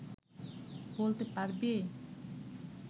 বলতে পারবি